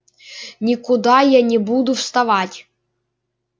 никуда я не буду вставать